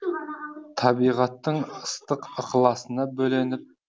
табиғаттың ыстық ықыласына бөленіп